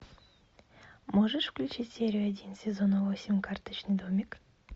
можешь включить серию один сезона восемь карточный домик